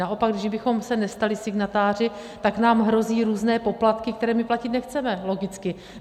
Naopak kdybychom se nestali signatáři, tak nám hrozí různé poplatky, které my platit nechceme, logicky.